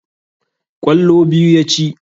Ƙwallo biyu ya ci.